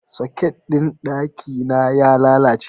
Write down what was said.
Soket ɗin ɗaki na ya lalace.